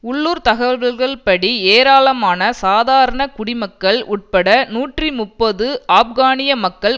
உள்ளுர்த் தகவல்கள்படி ஏராளமான சாதாரண குடிமக்கள் உட்பட நூற்றி முப்பது ஆப்கானிய மக்கள்